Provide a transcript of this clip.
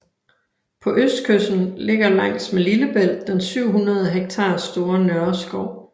På østkysten ligger langs med Lillebælt den 700 hektar store Nørreskov